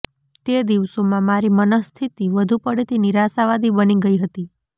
તે દિવસોમાં મારી મનઃસ્થિતિ વધુ પડતી નિરાશાવાદી બની ગઈ હતી